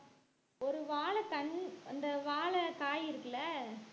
ஒரு வாழைத் தண்~ அந்த வாழைக்காய் இருக்குல்ல